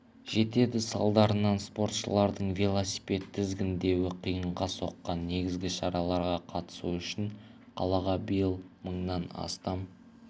жетеді салдарынан спортшылардың велосипед тізгіндеуі қиынға соққан негізі шараға қатысу үшін қалаға биыл мыңнан астам